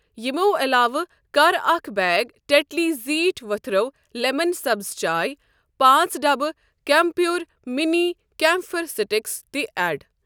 یِمو علاوٕ کر اکھ بیگ ٹٮ۪ٹلی زیٖٹھۍ ؤتھرو لٮ۪من سبٕز چاے، پانٛژ ڈبہٕ کیم پیور مِنی کیمپھر سٹِکس تہِ ایڈ۔